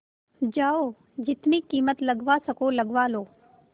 जाओ जितनी कीमत लगवा सको लगवा लो